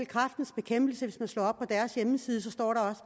kræftens bekæmpelses hjemmeside